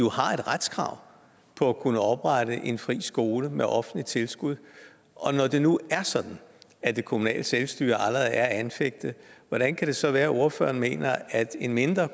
retskrav på at kunne oprette en fri skole med offentligt tilskud og når det nu er sådan at det kommunale selvstyre allerede er anfægtet hvordan kan det så være at ordføreren mener at en mindre